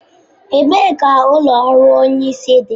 Ebee ka ụlọ ọrụ Onye isi dị?